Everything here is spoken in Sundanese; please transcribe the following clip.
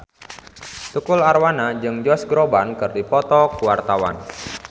Tukul Arwana jeung Josh Groban keur dipoto ku wartawan